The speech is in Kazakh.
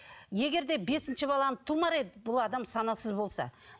егер де бесінші баланы тумар еді бұл адам санасыз болса